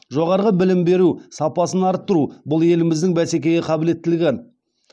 жоғары білім беру сапасын арттыру бұл еліміздің бәсекеге қабілеттілігі